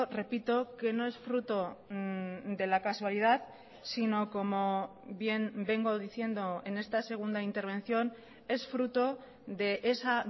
repito que no es fruto de la casualidad sino como bien vengo diciendo en esta segunda intervención es fruto de esa